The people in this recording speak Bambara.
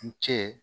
N cɛ